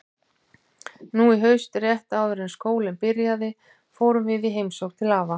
Nú í haust, rétt áður en skólinn byrjaði, fórum við í heimsókn til afa.